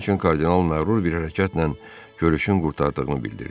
Lakin kardinal məğrur bir hərəkətlə görüşün qurtardığını bildirdi.